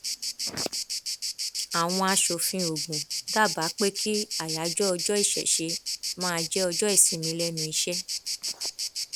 àwọn aṣòfin ogun dábàá pé kí ayájọ ọjọ ìṣẹṣẹ máa jẹ ọjọ ìsinmi lẹnu iṣẹ